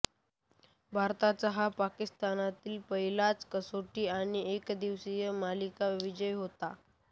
भारताचा हा पाकिस्तानातील पहिलाच कसोटी आणि एकदिवसीय मालिका विजय होता